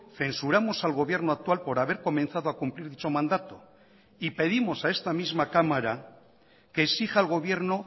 censuramosal gobierno actual por haber comenzado a cumplir dicho mandato y pedimos a esta misma cámara que exija al gobierno